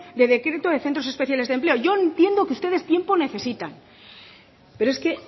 de decreto de centros especiales de empleo yo entiendo que ustedes tiempo necesitan pero es que